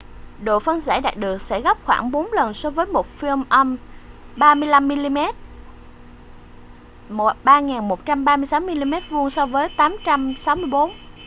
độ phân giải đạt được sẽ gấp khoảng bốn lần so với một film âm 35 mm 3136mm2 so với 864